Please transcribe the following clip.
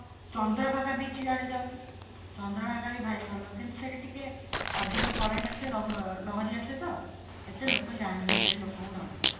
Chandrabhaga beach ଆଡେ ଯାଉନୁ ଚନ୍ଦ୍ରଭାଗା ବି ଭାରି ଭଲ କିନ୍ତୁ ସେଇଟା ଟିକେ ଅଧିକା current ଆସେ ଲହରୀ ଆସେ ତ ଏତେ ଲୋକ ଯାଆନ୍ତିନି ସ୍ୟାଡେ ଲୋକଙ୍କୁ ଡର ଲାଗେ